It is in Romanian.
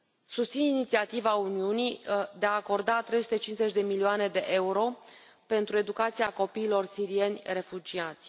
Susțin inițiativa Uniunii de a acorda 350 de milioane de euro pentru educația copiilor sirieni refugiați.